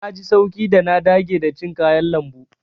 Na ji sauƙi da na dage da cin kayan lambu.